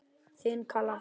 Þín Kalla María.